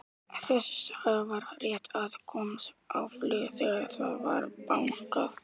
Ekkjan sat uppi með þrjú börn, en af þeim var Nathan elstur.